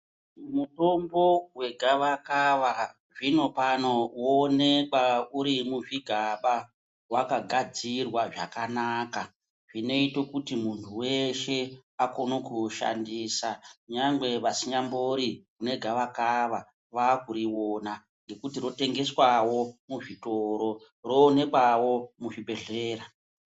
Mitombo wegavakava zvinopano woonekwa uri muzvigaba wakagadzirwa zvakanaka zvinoita kuti munhu weShe akone kuushandisa nyangwe vasinyambori negavakava vakuriona ngekuti rotengeswawo muzvitoro. Roonekawo muzvibhedhlera.